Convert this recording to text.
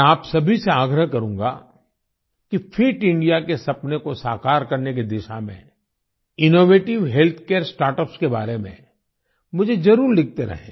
मैं आप सभी से आग्रह करूँगा कि फिट इंडिया के सपने को साकार करने की दिशा में इनोवेटिव हेल्थ केयर स्टार्टअप्स के बारे में मुझे जरुर लिखते रहें